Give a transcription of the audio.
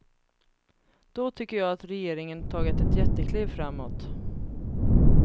Då tycker jag att regeringen tagit ett jättekliv framåt.